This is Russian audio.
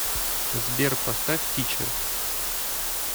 сбер поставь тичер